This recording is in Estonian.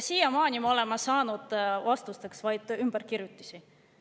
Siiamaani me oleme saanud vastusteks vaid ümberkirjutisi.